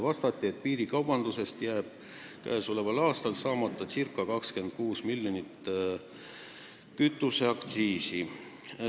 Vastati, et piirikaubanduse tõttu jääb käesoleval aastal saamata ca 26 miljonit kütuseaktsiisi.